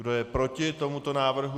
Kdo je proti tomuto návrhu?